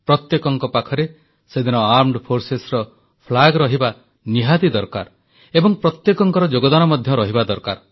ପ୍ରତ୍ୟେକଙ୍କ ପାଖରେ ସେଦିନ ସଶସ୍ତ୍ର ସେନାର ପତାକା ରହିବା ନିହାତି ଦରକାର ଏବଂ ପ୍ରତ୍ୟେକଙ୍କର ଯୋଗଦାନ ମଧ୍ୟ ରହିବା ଦରକାର